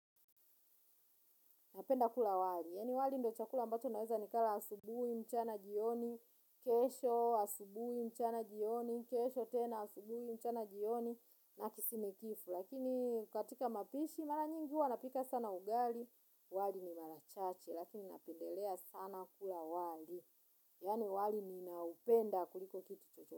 Napenda kula wali. Yani wali ndio chakula ambacho naweza nikala asubui, mchana jioni, kesho asubui, mchana jioni, kesho tena asubui, mchana jioni, na kisinikifu. Lakini katika mapishi mara nyingi huwa napika sana ugali, wali ni mara chache. Lakini napendelea sana kula wali. Yani wali ninaupenda kuliko kitu chocho.